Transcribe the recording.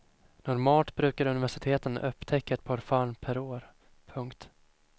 Normalt brukar universiteten upptäcka ett par fall per år. punkt